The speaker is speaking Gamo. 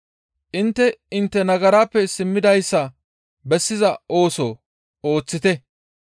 Intte intte nagaraappe simmidayssa bessiza ooso ooththite.